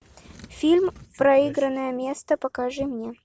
фильм проигранное место покажи мне